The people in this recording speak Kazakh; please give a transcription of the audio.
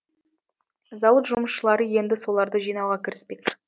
зауыт жұмысшылары енді соларды жинауға кіріспек